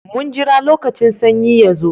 Mun jira lokacin sanyi ya zo.